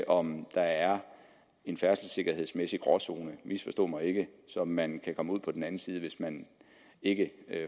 om der er en færdselssikkerhedsmæssig gråzone misforstå mig ikke som man kan komme ud på den anden side af hvis man ikke